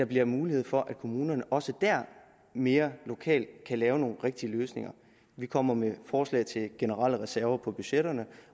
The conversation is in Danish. bliver mulighed for at kommunerne også der mere lokalt kan lave nogle rigtige løsninger vi kommer med forslag til generelle reserver for budgetterne